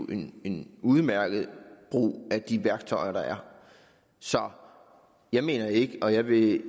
en udmærket brug af de værktøjer der er så jeg mener ikke og jeg vil ikke